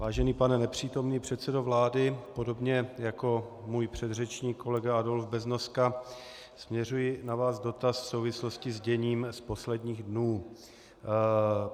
Vážený pane nepřítomný předsedo vlády, podobně jako můj předřečník kolega Adolf Beznoska směřuji na vás dotaz v souvislosti s děním z posledních dnů.